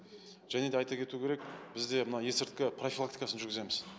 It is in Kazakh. және де айта кету кету керек бізде мына есірткі профилактикасын жүргіземіз